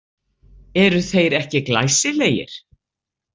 Eru þeir ekki glæsilegir?